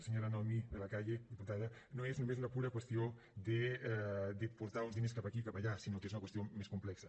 senyora noemí de la calle diputada no és només una pura qüestió de portar uns diners cap aquí i cap allà sinó que és una qüestió més complexa